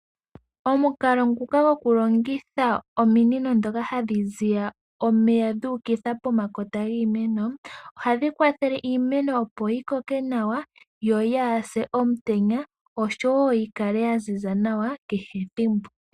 Omukalo ngoka gokulongitha ominino ndhoka hadhi ziya omeya dhuukitha pomakota giimeno ohadhi kwathele iimeno opo yi koke nawa yo yaa se omutenya oshowo yi kale ya ziza nawa kehe ethimbo.